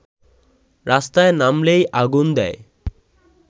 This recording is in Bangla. রাস্তায় নামলেই আগুন দেয়